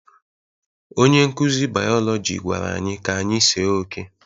Onye nkuzi biologi gwara anyị ka anyị see oke